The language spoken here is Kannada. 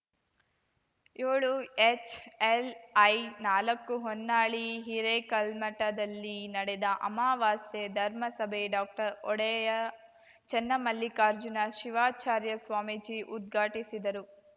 ಯೋಳುಎಚ್‌ಎಲ್‌ಐನಾಲಕ್ಕು ಹೊನ್ನಾಳಿ ಹಿರೇಕಲ್ಮಠದಲ್ಲಿ ನಡೆದ ಅಮಾವಾಸ್ಯೆ ಧರ್ಮ ಸಭೆ ಡಾಕ್ಟರ್ಒಡೆಯರ್‌ ಚನ್ನಮಲ್ಲಿಕಾರ್ಜುನ ಶಿವಾಚಾರ್ಯ ಸ್ವಾಮೀಜಿ ಉದ್ಘಾಟಿಸಿದರು